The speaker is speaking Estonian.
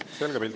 Selge pilt.